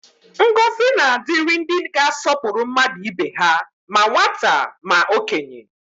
Ngọzi na-adịrị ndị ga-asọpụrụ mmadụ ibe ha, ma nwata ma okenye